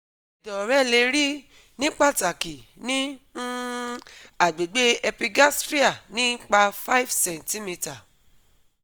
Ẹdọ rẹ le ri, ni pataki ni um agbegbe epigastria, nipa 5 cm